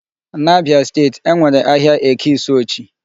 N'Abia state e nwere ahịa Eke Isuochi.